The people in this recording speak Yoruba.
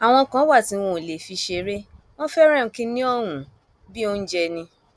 àwọn kan wà tí wọn ò lè fi ṣeré wọn fẹràn kínní ọhún bíi oúnjẹ ni